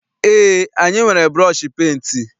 Eé, anyị nwere bụrọshi penti.